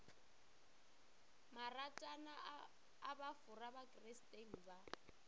maratwana a bofora bakristeng ba